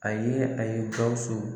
A ye a ye Gawusu